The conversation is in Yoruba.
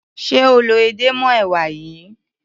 Ṣé o lọ edé mọ́ èwà yìí?